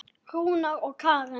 Rúnar og Karen.